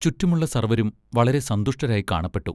ചുറ്റുമുള്ള സർവ്വരും വളരെ സന്തുഷ്ടരായി കാണപ്പെട്ടു.